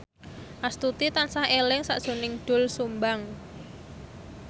Astuti tansah eling sakjroning Doel Sumbang